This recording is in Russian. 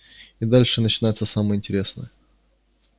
и дальше начинается самое интересное